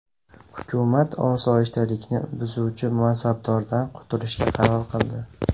Hukumat osoyishtalikni buzuvchi mansabdordan qutulishga qaror qildi.